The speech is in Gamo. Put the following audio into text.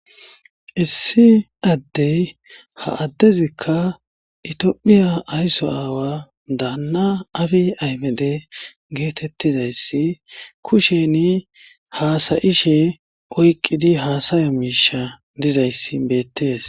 Issi addey ha addezikka itiophiya aysso aawa daanna afi aymede geetettizayssi kusheni haasayishe oyqqidi haasayo miisha dizayssi beettees